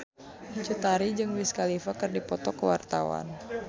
Cut Tari jeung Wiz Khalifa keur dipoto ku wartawan